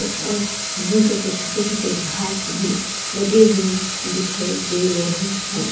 अह green colour के छोटे छोटे घास भी लगे हुए दिखाई दे रहे हैं।